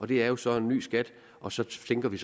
det er så en ny skat og så sænker vi